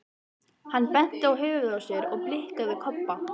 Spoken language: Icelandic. Hann benti á höfuðið á sér og blikkaði Kobba.